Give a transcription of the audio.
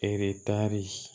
Eretari